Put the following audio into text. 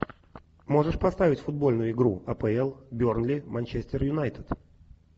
можешь поставить футбольную игру апл бернли манчестер юнайтед